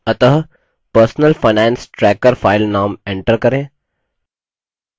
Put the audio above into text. अतः personal finance tracker file name enter करें